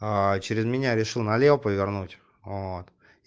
через меня решил налево повернуть вот